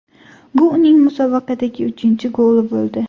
Bu uning musobaqadagi uchinchi goli bo‘ldi.